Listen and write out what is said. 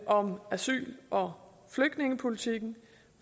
om asyl og flygtningepolitikken